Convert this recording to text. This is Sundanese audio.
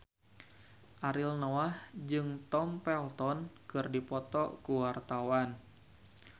Ariel Noah jeung Tom Felton keur dipoto ku wartawan